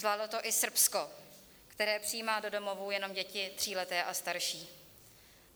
Zvládlo to i Srbsko, které přijímá do domovů jenom děti tříleté a starší.